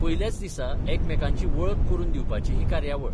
पयल्याच दिसा एकामेकांची वळख करून दिवपाची ही कार्यावळ.